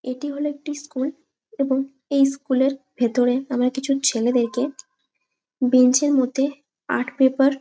এটি হলো একটি স্কুল । এবং এই স্কুল -এর ভেতরে আমরা কিছু ছেলেদেরকে বেঞ্চ এর মধ্যে আর্ট পেপার --